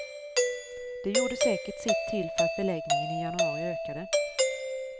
Det gjorde säkert sitt till för att beläggningen i januari ökade.